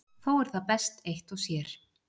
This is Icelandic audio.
Þó er það best eitt og sér.